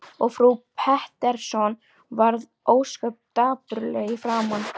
Og frú Pettersson varð ósköp dapurleg í framan.